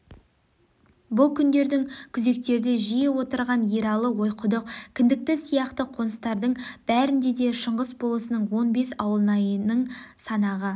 бұл күндерде күзектерде жиі отырған ералы ойқұдық кіндікті сияқты қоныстардың бәрінде де шыңғыс бо-лысының он бес ауылнайының санағы